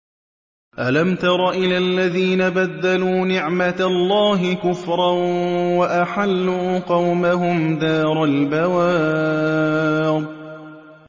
۞ أَلَمْ تَرَ إِلَى الَّذِينَ بَدَّلُوا نِعْمَتَ اللَّهِ كُفْرًا وَأَحَلُّوا قَوْمَهُمْ دَارَ الْبَوَارِ